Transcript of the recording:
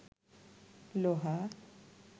লোহা